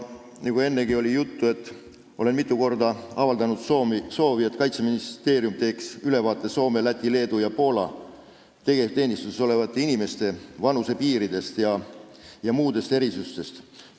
Nagu ennegi juttu oli, olen mitu korda avaldanud soovi, et Kaitseministeerium teeks ülevaate Soome, Läti, Leedu ja Poola tegevteenistuses olevate inimeste vanusepiiridest ja muudest erisustest.